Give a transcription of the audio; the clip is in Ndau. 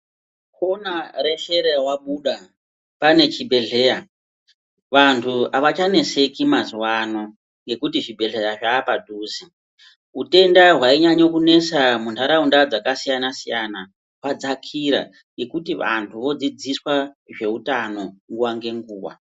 Kona reshe rawabuda pane chibhedhlera. Vantu havachaneseki mazuva ano, nekuti zvibhedhleya zvapadhuze hutenda hwainyanya kunesa munharaunda dzakasiyana-siyana hwadzakira. Ngekuti vantu vodzidziswa ngezveutano nguva ngenguva.